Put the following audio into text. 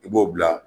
I b'o bila